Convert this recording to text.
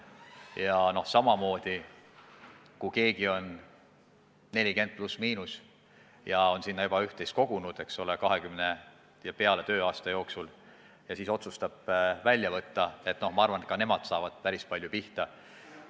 Ja samamoodi saavad minu arvates päris palju pihta need, kes on 40+/– ja on sinna sambasse juba üht-teist kogunud umbes 20 tööaasta jooksul ja siis otsustavad raha välja võtta.